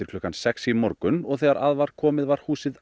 klukkan sex í morgun og þegar að var komið var húsið